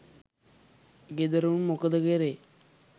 ගෙදර උන් මොකද කරේ